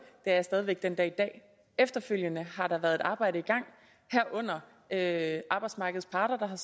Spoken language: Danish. er jeg stadig den dag i dag efterfølgende har der så været et arbejde i gang herunder at arbejdsmarkedets parter har